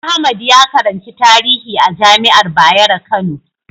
Ahmad ya karanci tarihi a jami'ar Bayero Kano.